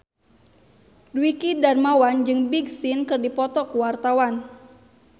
Dwiki Darmawan jeung Big Sean keur dipoto ku wartawan